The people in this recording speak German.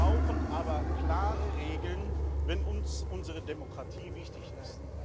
Wir brauchen aber klare Regeln, wenn uns unsere Demokratie wichtig ist.